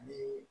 Ni